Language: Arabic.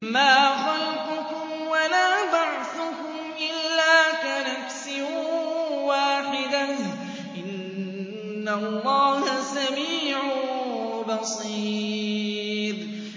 مَّا خَلْقُكُمْ وَلَا بَعْثُكُمْ إِلَّا كَنَفْسٍ وَاحِدَةٍ ۗ إِنَّ اللَّهَ سَمِيعٌ بَصِيرٌ